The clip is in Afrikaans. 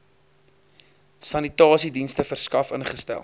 sanitasiedienste verskaf ingestel